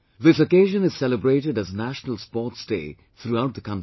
This occasion is celebrated as 'National Sports Day' throughout the country